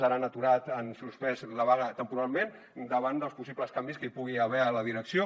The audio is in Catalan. ara han aturat han suspès la vaga temporalment davant dels possibles canvis que hi pugui haver a la direcció